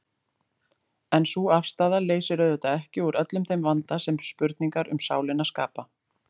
En sú afstaða leysir auðvitað ekki úr öllum þeim vanda sem spurningar um sálina skapa.